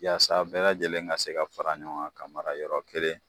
Walasa bɛɛ lajɛlen ka se ka fara ɲɔgɔn kan ka mara yɔrɔ kelen